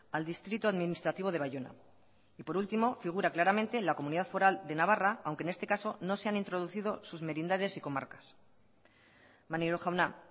al distrito administrativo de baiona y por último figura claramente la comunidad foral de navarra aunque en este caso no se han introducido sus merindades y comarcas maneiro jauna